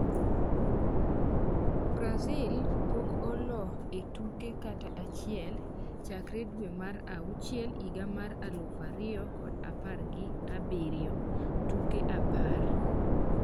Brazil pok olo e tuke kata achiel chakre dwe mar auchiel higa mar aluf ariyo kod apar gi abiriyo, tuke apar